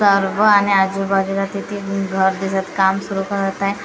आणि आजूबाजूला तिथे घर दिसत काम सुरू करत आहे.